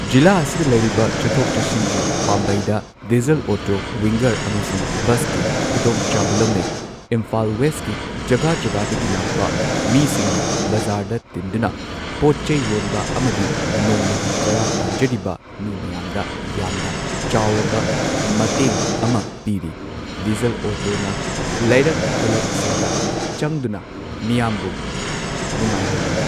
ꯖꯤꯂꯥ ꯑꯁꯤꯗ ꯂꯩꯔꯤꯕ ꯆꯠꯊꯣꯛ ꯆꯠꯁꯤꯟꯒꯤ ꯄꯥꯝꯕꯩꯗ ꯗꯤꯖꯜ ꯑꯣꯇꯣ ꯋꯤꯡꯒꯔ ꯑꯃꯁꯨꯡ ꯕꯁꯀꯤ ꯈꯨꯗꯣꯡꯆꯥꯕ ꯂꯧꯅꯩ ꯏꯝꯐꯥꯜ ꯋꯦꯁꯀꯤ ꯖꯒꯥ ꯖꯒꯥꯗꯒꯤ ꯂꯥꯛꯄ ꯃꯤꯁꯤꯡꯅ ꯕꯖꯥꯔꯗ ꯇꯤꯟꯗꯨꯅ ꯄꯣꯠ ꯆꯩ ꯌꯣꯟꯕ ꯑꯃꯗꯤ ꯅꯣꯡꯃꯒꯤ ꯆꯔꯥ ꯇꯥꯟꯖꯔꯤꯕ ꯃꯤ ꯃꯌꯥꯝꯗ ꯌꯥꯝꯅ ꯆꯥꯎꯔꯕ ꯃꯇꯦꯡ ꯑꯃ ꯄꯤꯔꯤ ꯗꯤꯖꯜ ꯑꯣꯇꯣꯅ ꯂꯩꯔꯛ ꯈꯨꯜꯂꯛꯁꯤꯡꯗ ꯆꯪꯗꯨꯅ ꯃꯤꯌꯥꯝꯕꯨ ꯅꯨꯉꯥꯏꯍꯜꯂꯤ꯫